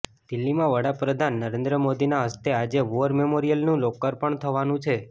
દિલ્હીમાં વડાપ્રધાન નરેન્દ્ર મોદીના હસ્તે આજે વોર મેમોરિયલનું લોકાર્પણ થવાનુ છે